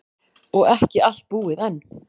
Og ekki allt búið enn.